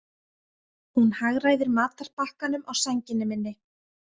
Hún hagræðir matarbakkanum á sænginni minni.